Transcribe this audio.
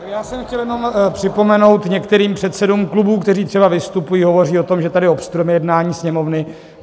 Já jsem chtěl jenom připomenout některým předsedům klubů, kteří třeba vystupují, hovoří o tom, že tady obstruujeme jednání Sněmovny.